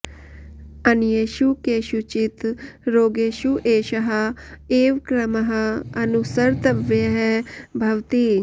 अन्येषु केषुचित् रोगेषु एषः एव क्रमः अनुसर्तव्यः भवति